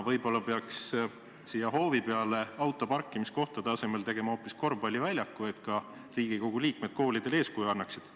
Võib-olla peaks siia hoovi peale autoparkimiskohtade asemel tegema hoopis korvpalliväljaku, et ka Riigikogu liikmed koolidele eeskuju annaksid.